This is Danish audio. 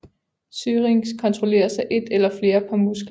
Syrinx kontrolleres af et eller flere par muskler